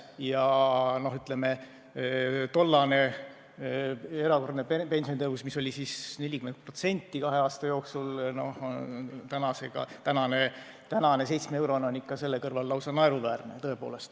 Ja tollane erakorraline pensionitõus oli 40% kahe aasta jooksul, nüüdne 7-eurone on selle kõrval lausa naeruväärne.